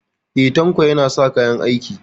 E, Tanko yana sa kayan aiki.